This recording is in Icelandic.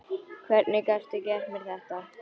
Hvernig gastu gert mér þetta?